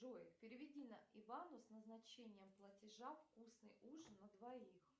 джой переведи на ивану с назначением платежа вкусный ужин на двоих